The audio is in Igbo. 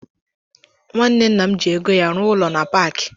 Nwanne nna m ji ego ya rụọ ụlọ na paaki.